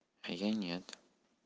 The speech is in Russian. а я нет